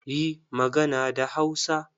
Yi magana da Hausa!